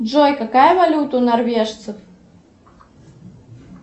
джой какая валюта у норвежцев